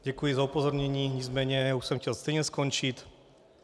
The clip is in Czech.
Děkuji za upozornění, nicméně už jsem chtěl stejně skončit.